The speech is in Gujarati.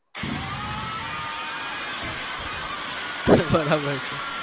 બરાબર છે.